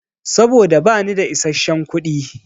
Saboda bani da isasshen kuɗi.